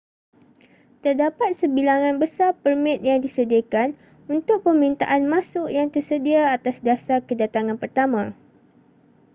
terdapat sebilangan besar permit yang disediakan untuk permintaan masuk yang tersedia atas dasar kedatangan pertama